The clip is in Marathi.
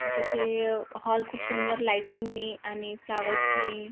ती जिथे अं हॉल खूप सुंदर लाइटिंग नी आणि फ्लावर्स नी--